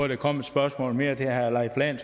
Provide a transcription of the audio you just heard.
der kom et spørgsmål mere til herre leif lahn